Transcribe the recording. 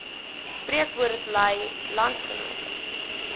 spreekwoord lui landsgenote